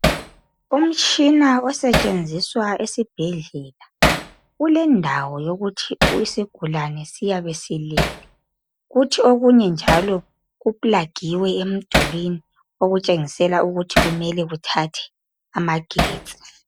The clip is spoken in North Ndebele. Umtshina osetshenziswa esibhedlela, ulendawo yokuthi isigulani siyabe silele okunye njalo kuplagiwe emdulwini okutshengisela ukuthi kumele kuthathe amagetsi.